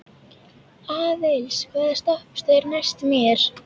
Aðils, hvaða stoppistöð er næst mér?